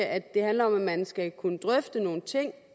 at det handler om at man skal kunne drøfte nogle ting